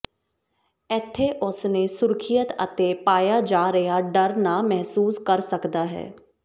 ਇੱਥੇ ਉਸ ਨੇ ਸੁਰੱਖਿਅਤ ਅਤੇ ਪਾਇਆ ਜਾ ਰਿਹਾ ਡਰ ਨਾ ਮਹਿਸੂਸ ਕਰ ਸਕਦਾ ਹੈ